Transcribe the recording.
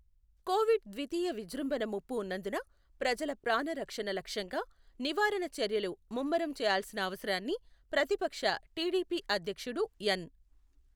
Covid ద్వితీయ విజృంభణ ముప్పు ఉన్నందున ప్రజల ప్రాణరక్షణ లక్ష్యంగా నివారణ చర్యలు ముమ్మరం చేయాల్సిన అవసరాన్ని ప్రతిపక్ష టీడీపీ అధ్యక్షుడు ఎన్.